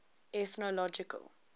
ethnological